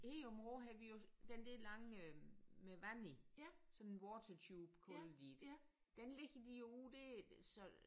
Her i Aabenraa havde vi jo den der lange øh med vand i sådan en watertube kalder de det. Den ligger de jo ud der så